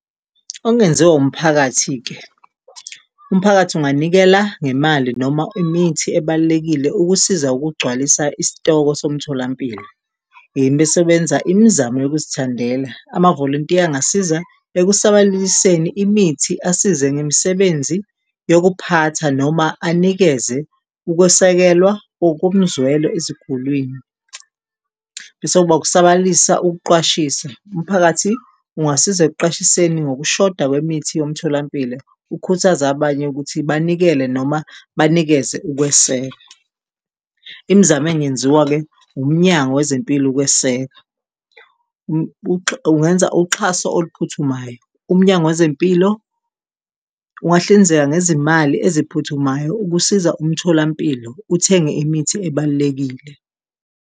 Okungenziwa umphakathi-ke, umphakathi unganikela ngemali noma imithi ebalulekile ukusiza ukugcwalisa isitoko somtholampilo besebenza imizamo yokuzithandela, amavolontiya angasiza ekusabalaliseni imithi asize ngemisebenzi yokuphatha noma anikeze ukwesekelwa okomzwelo ezigulwini. Bese kuba ukusabalalisa ukuqwashisa, umphakathi ungasiza ekuqwashiseni ngokushoda kwemithi yomtholampilo, ukhuthaza abanye ukuthi banikele noma banikeze ukweseka. Imizamo engenziwa-ke uMnyango wezeMpilo ukweseka, ungenza uxhaso oluphuthumayo, uMnyango wezeMpilo ungahlinzeka ngezimali eziphuthumayo ukusiza umtholampilo, uthenge imithi ebalulekile.